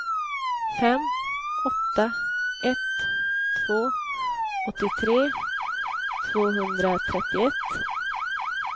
fem åtta ett två åttiotre tvåhundratrettioett